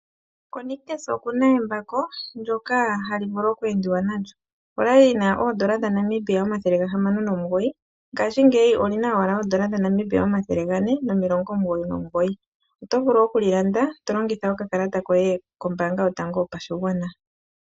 KoNictus okuna embako ndyoka hali vulu ookwendiwa nalyo. Okwali lina N$609 ngaashingeyi olina owala N$499 otovulu okulilanda tolongitha okakalata koye kombanga yotango yopashigwana.